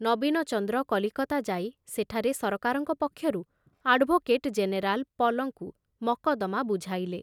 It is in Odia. ନବୀନଚନ୍ଦ୍ର କଲିକତା ଯାଇ ସେଠାରେ ସରକାରଙ୍କ ପକ୍ଷରୁ ଆଡ଼ଭୋକେଟ ଜେନେରାଲ ପଲଙ୍କୁ ମକଦ୍ଦମା ବୁଝାଇଲେ।